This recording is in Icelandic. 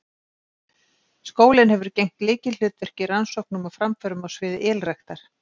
Skólinn hefur gegnt lykilhlutverki í rannsóknum og framförum á sviði ylræktar.